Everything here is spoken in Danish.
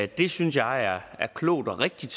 det synes jeg er klogt og rigtigt